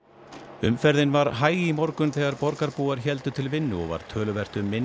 umferðin var hæg í morgun þegar borgarbúar héldu til vinnu og var töluvert um minni